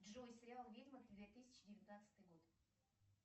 джой сериал ведьма две тысячи девятнадцатый год